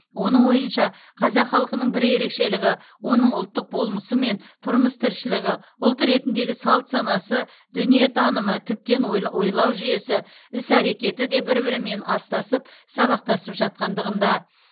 оның ойынша қазақ халқының бір ерекшелігі оның ұлттық болмысы мен тұрмыс тіршілігі ұлт ретіндегі салт санасы дүниетанымы тіптен ойлы ойлау жүйесі іс әрекеті де бір бірімен астасып сабақтасып жатқандығында